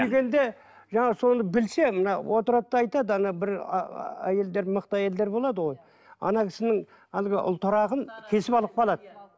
жаңағы соны білсе мына отырады да айтады ана бір әйелдер мықты әйелдер болады ғой ана кісінің әлгі ұлтарағын кесіп алып қалады